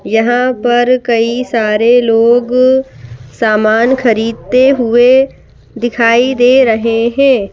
यहां पर कई सारे लोग सामान खरीदते हुए दिखाई दे रहे हैं।